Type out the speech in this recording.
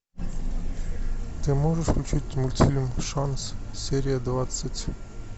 ты можешь включить мультфильм шанс серия двадцать